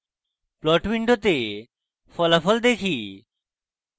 plot window ফলাফল দেখি